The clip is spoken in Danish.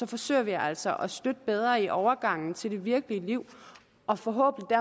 forsøger vi altså at støtte bedre i overgangen til det virkelige liv og forhåbentlig